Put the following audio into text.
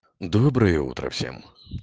доброе утро всем